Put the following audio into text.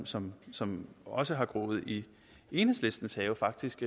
som som også har groet i enhedslistens have faktisk